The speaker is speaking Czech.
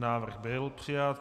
Návrh byl přijat.